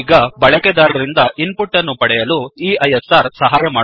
ಈಗ ಬಳಕೆದಾರರಿಂದ input ಅನ್ನು ಪಡೆಯಲು ಈ ಐಎಸ್ಆರ್ ಸಹಾಯ ಮಾಡುತ್ತದೆ